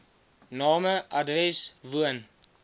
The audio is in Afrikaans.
name adres woon